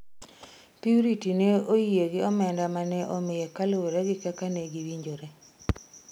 Purity ne oyie gi omenda mane imiye kaluwore gi kaka negiwinjore.